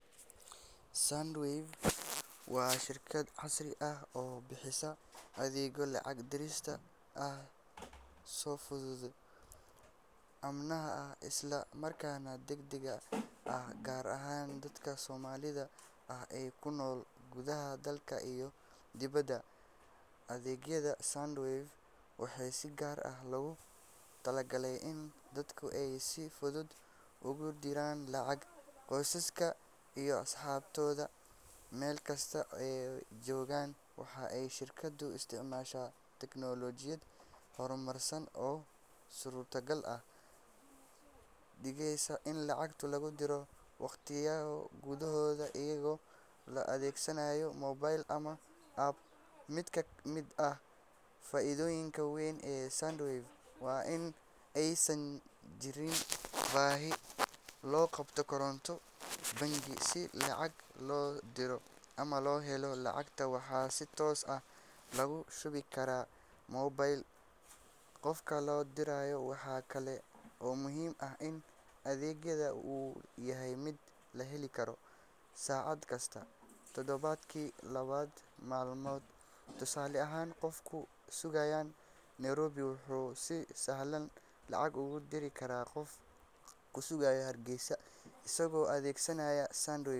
Sandwave waa shirkad casri ah oo bixisa adeegyo lacag diris ah oo fudud, ammaan ah, isla markaana degdeg ah, gaar ahaan dadka Soomaalida ah ee ku nool gudaha dalka iyo dibedda. Adeegyada Sandwave waxaa si gaar ah loogu talagalay in dadka ay si fudud ugu diraan lacag qoysaskooda iyo asxaabtooda meel kasta oo ay joogaan. Waxa ay shirkaddu isticmaashaa tignoolajiyad horumarsan oo suurtagal ka dhigaysa in lacag lagu diro daqiiqado gudahood iyadoo la adeegsanayo moobil ama app. Mid ka mid ah faa’iidooyinka weyn ee Sandwave waa in aysan jirin baahi loo qabo koonto bangi si lacag loo diro ama loo helo. Lacagta waxaa si toos ah loogu shubi karaa moobilka qofka la dirayo. Waxaa kale oo muhiim ah in adeegga uu yahay mid la heli karo saacad kasta, toddobaadkii todoba maalmood. Tusaale ahaan, qof ku sugan Nairobi wuxuu si sahlan lacag ugu diri karaa qof ku sugan Hargeysa, isagoo adeegsanaya Sandwave.